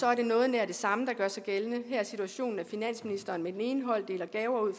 er det noget nær det samme der gør sig gældende her er situationen at finansministeren med den ene hånd deler gaver ud